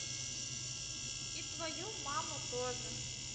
и твою маму тоже